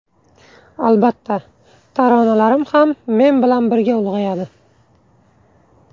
Albatta, taronalarim ham men bilan birga ulg‘ayadi.